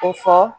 Ko fɔ